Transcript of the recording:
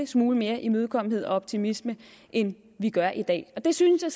smule mere imødekommenhed og optimisme end vi gør i dag det synes jeg